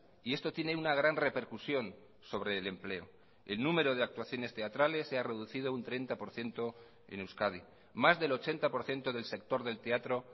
y esto tiene una gran repercusión sobre el empleo el número de actuaciones teatrales se ha reducido un treinta por ciento en euskadi más del ochenta por ciento del sector del teatro